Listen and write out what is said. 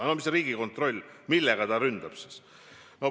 No millega Riigikontroll siis ründab?